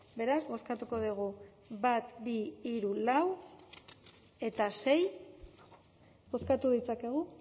beraz bozkatuko dugu bat bi hiru lau eta sei bozkatu ditzakegu